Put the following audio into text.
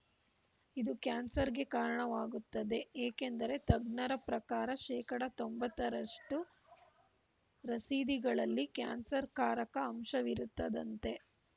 ಇದು ಕ್ಯಾನ್ಸರ್‌ಗೆ ಕಾರಣವಾಗುತ್ತದೆ ಏಕೆಂದರೆ ತಜ್ಞರ ಪ್ರಕಾರ ಶೇಕಡಾ ತೊಂಬತ್ತರಷ್ಟುರಸೀದಿಗಳಲ್ಲಿ ಕ್ಯಾನ್ಸರ್‌ಕಾರಕ ಅಂಶವಿರುತ್ತದಂತೆ